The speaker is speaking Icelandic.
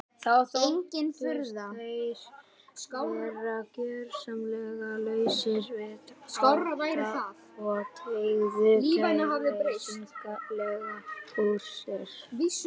Þá þóttust þeir vera gjörsamlega lausir við ótta og teygðu kæruleysislega úr sér.